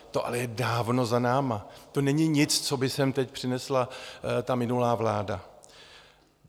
To je ale dávno za námi, to není nic, co by sem teď přinesla ta minulá vláda.